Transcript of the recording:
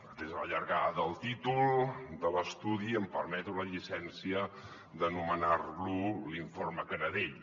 atesa la llargada del títol de l’estudi em permeto la llicència de nomenar lo l’informe canadell